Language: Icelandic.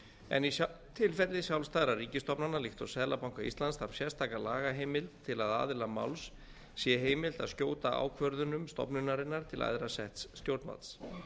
en í tilfelli sjálfstæðra ríkisstofnana líkt og seðlabanka íslands þarf sérstaka lagaheimild til að aðila máls sé heimilt að skjóta ákvörðunum stofnunarinnar til æðra setts stjórnvalds